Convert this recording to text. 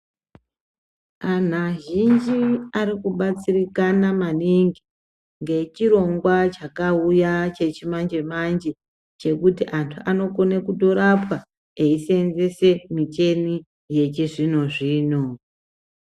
Anhu azhinji ariku batsirikana maningi nge chirongwa chaka uya chechi manje manje chekuti antu ano kone kuto rapwa eyi senzese micheni yechi zvino zvino.